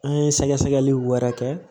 An ye sɛgɛsɛgɛli wɛrɛ kɛ